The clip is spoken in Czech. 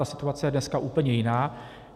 Ta situace je dneska úplně jiná.